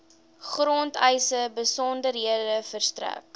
grondeise besonderhede verstrek